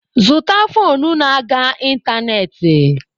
Zụta foonu na-aga ịntanetị!